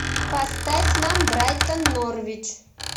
поставь нам брайтон норвич